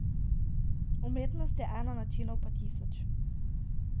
Umetnost je ena, načinov pa tisoč.